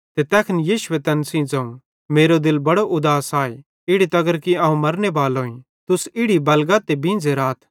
ते तैखन यीशुए तैन सेइं ज़ोवं मेरो दिल बड़ो उदास आए इड़ी तगर कि अवं मरनेबालोईं तुस इड़ी बलगा ते बींझ़े राथ